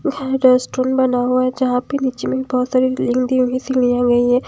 यहां रेस्टोरेंट बना हुआ है जहां पे नीचे में बहोत सारी है।